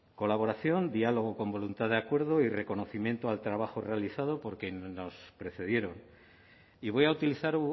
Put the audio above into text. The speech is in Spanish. colaboración diálogo con voluntad de acuerdo y reconocimiento al trabajo realizado por quienes nos precedieron y voy a utilizar